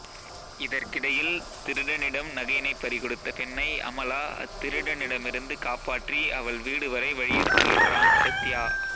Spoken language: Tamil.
இதற்கிடையில் திருடனிடம் நகையினைப் பறி கொடுத்த பெண்ணை அமலா அத்திருடனிடமிருந்து காப்பாற்றி அவள் வீடு வரை வழியனுப்புகின்றான் சத்யா